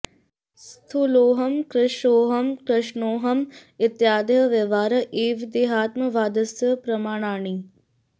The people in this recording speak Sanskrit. स्थूलोहम् कृशोहम् कृष्णोहम् इत्यादयः व्यवहाराः एव देहात्मवादस्य प्रमाणानि